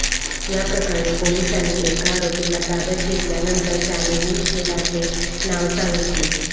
या प्रकरणी पोलिसांनी एका आरोपीला ताब्यात घेतल्यानंतर त्यांनेही शेराचे नाव सांगितले